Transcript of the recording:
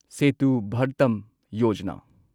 Setu Bharatam Yojana